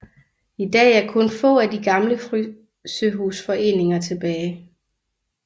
I dag er kun få af de gamle frysehusforeninger tilbage